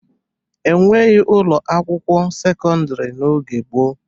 E nweghi ụlọ akwụkwọ sekọndịrị n'oge gboo